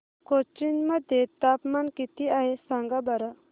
कोचीन मध्ये तापमान किती आहे सांगा बरं